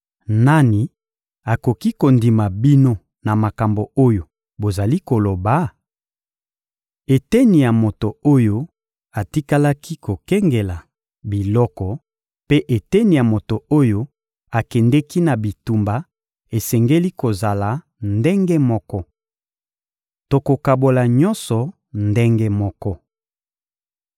Nani akoki kondima bino na makambo oyo bozali koloba? Eteni ya moto oyo atikalaki kokengela biloko mpe eteni ya moto oyo akendeki na bitumba esengeli kozala ndenge moko. Tokokabola nyonso ndenge moko.